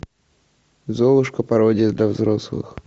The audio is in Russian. золушка пародия для взрослых